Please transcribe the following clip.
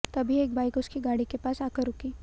तभी एक बाइक उसकी गाड़ी के पास आकर रुकी